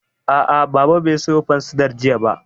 A'a, Baba bai sayo fansidar jiya ba